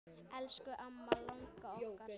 Elsku amma langa okkar.